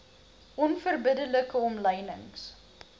onverbidde like omlynings